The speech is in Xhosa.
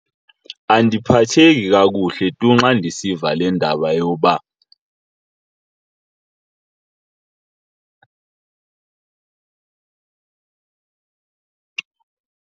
Andiphatheki kakuhle tu xa ndisiva le ndaba yoba.